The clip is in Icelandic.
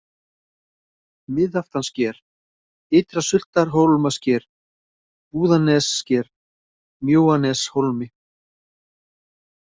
Miðaftanssker, Ytra-Sultarhólmasker, Búðanessker, Mjóaneshólmi